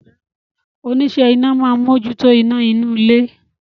Oníṣẹ́ iná máa ń mójútó iná inú ilé